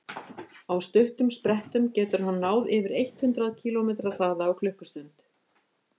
á stuttum sprettum getur hann náð yfir eitt hundruð kílómetri hraða á klukkustund